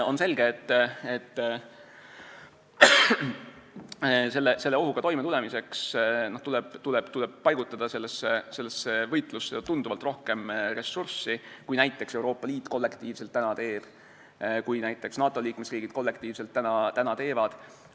On selge, et selle ohuga toimetulemiseks tuleb paigutada sellesse võitlusse ju tunduvalt rohkem ressursse, kui näiteks Euroopa Liit kollektiivselt praegu teeb või kui näiteks NATO liikmesriigid kollektiivselt teevad.